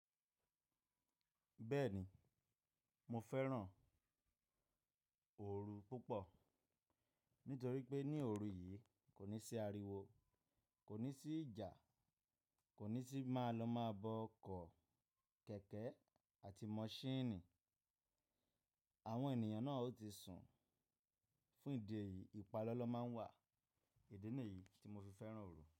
Bẹ́ẹ̀ni, mo fẹ́ràn oru púpọ̀ nítorí pé ní oru yìí kò ní sí ariwo, kò ní sí ìjà, kò ní sí máa lọ máa bọ ọkọ̀, kẹ̀kẹ́ àti mọṣínìì. Àwọn ènìyàn náà ò tí sùn. Fún ìdí èyí ìpalọ́lọ́ máa ń wà. Ìdí nìyí tí mo fi fẹ́ràn oru.